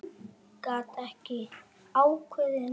Gat ekki ákveðið neitt.